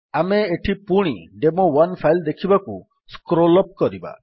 ଆମେ ଏଠି ପୁଣି ଡେମୋ1 ଫାଇଲ୍ ଦେଖିବାକୁ ସ୍କ୍ରୋଲ୍ ଅପ୍ କରିବା